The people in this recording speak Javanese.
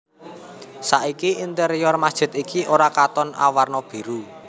Saiki interior masjid iki ora katon awarna biru